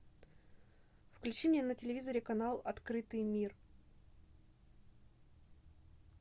включи мне на телевизоре канал открытый мир